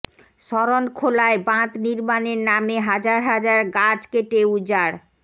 শরণখোলায় বাঁধ নির্মাণের নামে হাজার হাজার গাছ কেটে উজাড়